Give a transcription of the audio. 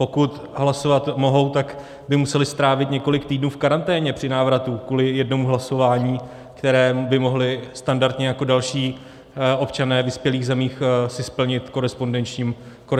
Pokud hlasovat mohou, tak by museli strávit několik týdnů v karanténě při návratu kvůli jednomu hlasování, které by mohli standardně jako další občané vyspělých zemí si splnit korespondenční volbou.